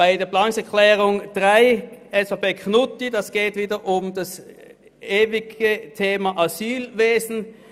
Beim Abänderungsantrag 3 von Grossrat Knutti geht es wieder um das ewige Thema Asylwesen.